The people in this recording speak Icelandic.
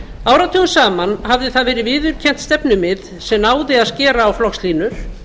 áratugum saman hafði það verið viðurkennt stefnumið sem náði að skera á flokkslínur